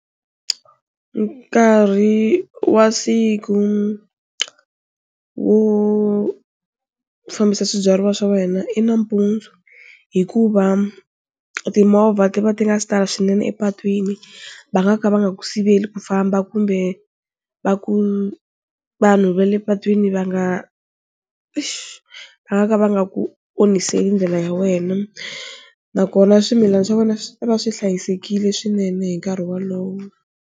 Nkarhi wa siku wo fambisa swibyariwa swa wena i nampundzu hikuva timovha ti va ti nga si tala swinene epatwini va nga ka va nga ku siveli ku famba kumbe va ku vanhu va le patwini va nga exi va nga ka va nga ku onhiseli ndlela ya wena nakona swimilana swa wena swi ta va swi hlayisekile swinene hi nkarhi wolowo.